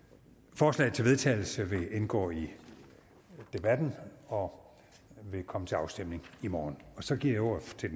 forslaget til vedtagelse vil indgå i debatten og vil komme til afstemning i morgen så giver jeg ordet til